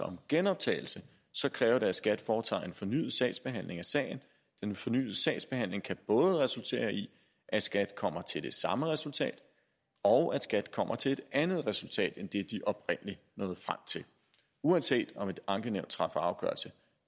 om genoptagelse kræver det at skat foretager en fornyet sagsbehandling af sagen den fornyede sagsbehandling kan både resultere i at skat kommer til det samme resultat og at skat kommer til et andet resultat end det de oprindelig nåede frem til uanset om et ankenævn træffer afgørelse